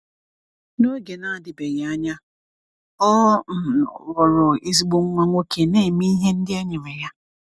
N’oge na-adịbeghị anya, ọ um ghọrọ ezigbo nwa nwoke na-eme ihe ndị e nyere ya.